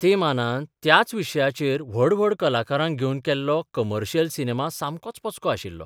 ते मानान त्याच विशयाचेर व्हड व्हड कलाकारांक घेवन केल्लो कमर्शियल सिनेमा सामकोच पचको आशिल्लो.